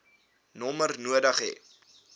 nommer nodig hê